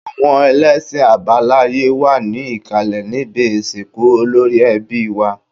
Àwọn ẹlẹ́ṣin àbáláye wà ní ìkàlẹ̀ níbi ìsìnkú olórí ẹbí wá